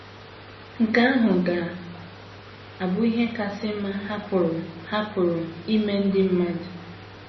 Nke ahụ ga - abụ ihe kasị mma ha pụrụ ha pụrụ imere ndị mmadụ.